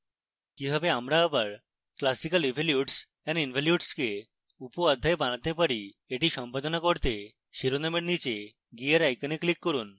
কিভাবে আমরা আবার classical evolutes and involutes কে উপঅধ্যায় বানাতে পারি